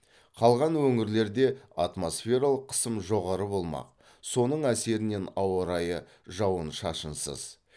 қалған өңірлерде атмосфералық қысым жоғары болмақ соның әсерінен ауа райы жауын шашынсыз